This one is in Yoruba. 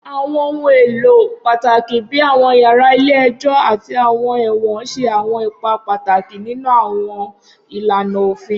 Awọn ohun elo pataki bi awọn yara ile-ẹjọ ati awọn ẹwọn ṣe awọn ipa pataki ninu awọn ilana ofin.